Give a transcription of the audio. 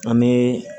An bɛ